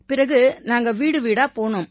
பிறகு நாங்க வீடுவீடா போனோம்